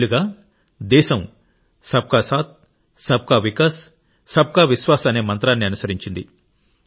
కొన్నేళ్లుగా దేశం సబ్కాసాథ్ సబ్కావికాస్ సబ్కావిశ్వాస్ అనే మంత్రాన్ని అనుసరించింది